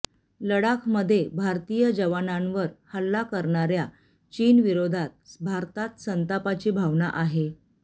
लडाखमध्ये भारतीय जवानांवर हल्ला करणाऱ्या चीनविरोधात भारतात संतापाची भावना आहे